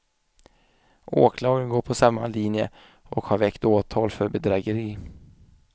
Åklagaren går på samma linje och har väckt åtal för bedrägeri.